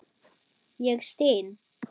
Ég styn.